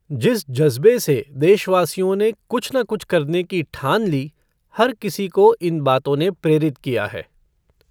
जिस ज़ज्बे से देशवासियों ने, कुछ न कुछ करने की ठान ली, हर किसी को इन बातों ने प्रेरित किया है।